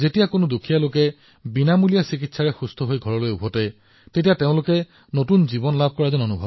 যেতিয়া এজন দৰিদ্ৰ ব্যক্তিয়ে বিনামূলীয়া চিকিৎসা লৈ স্বাস্থ্যৱান হৈ ঘৰলৈ আহে তেওঁ অনুভৱ কৰে যে তেওঁ এক নতুন জীৱন লাভ কৰিছে